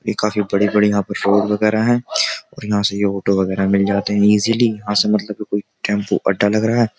ये काफी बड़ी-बड़ी यहाँ पे रोड वगेरा है और यहाँ से ये ऑटो वगैरह मिल जाते है ईजिली यहाँ से मतलब की कोई टेम्पो अड्डा लग रहा है।